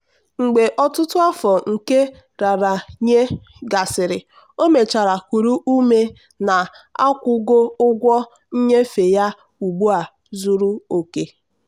"mgbe ọtụtụ afọ nke nraranye gasịrị o mechara kuru ume na akwụgo ụgwọ nnyefe ya ugbu a zuru oke."